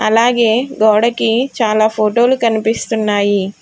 అలాగే గోడకి చాలా ఫోటో లు కనిపిస్తున్నాయి.